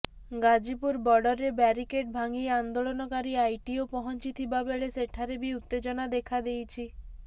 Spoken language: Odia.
ଗାଜିପୁର ବର୍ଡରେ ବ୍ୟାରିକେଡ୍ ଭାଙ୍ଗି ଆନ୍ଦୋଳନକାରୀ ଆଇଟିଓ ପହଞ୍ଚି ଥିବାବେଳେ ସେଠାରେ ବି ଉତ୍ତେଜନା ଦେଖାଦେଇଛି